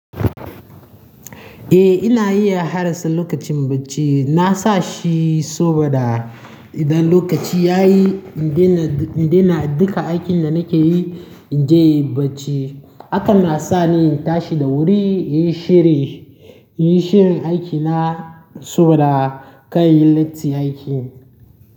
Eh ina iya hadasa lokacin bacci. Na sa shi saboda idan lokaci ya yi, in dena duka aikin da nake yi, in je inyi bacci. Haka na sa ni in tashi da wuri, in yi shiri, in yi shirin aikina saboda kar inyi latti aiki.